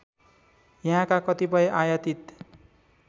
यहाँका कतिपय आयातित